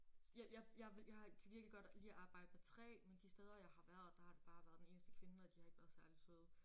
Jeg jeg jeg vil jeg kan virkelig godt lide at arbejde med træ men de steder jeg har været der har det bare været den eneste kvinde og de har ikke været særlig søde